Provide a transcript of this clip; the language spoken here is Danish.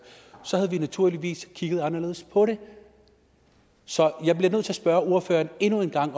havde vi naturligvis kigget anderledes på det så jeg bliver nødt til at spørge ordføreren endnu en gang